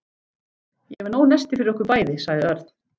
Ég er með nóg nesti fyrir okkur bæði sagði Örn.